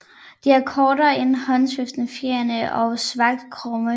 De er kortere end håndsvingfjerene og svagt krumme